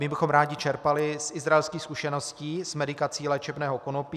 My bychom rádi čerpali z Izraelských zkušeností s medikací léčebného konopí.